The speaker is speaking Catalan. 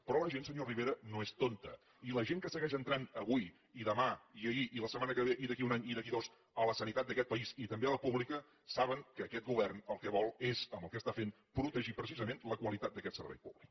però la gent senyor rivera no és tonta i la gent que segueix entrant avui i demà i ahir i la setmana que ve i d’aquí a un any i d’aquí a dos a la sanitat d’aquest país i també a la pública saben que aquest govern el que vol és amb el que està fent protegir precisament la qualitat d’aquest servei públic